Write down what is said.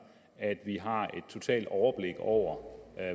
at vi har et totalt overblik over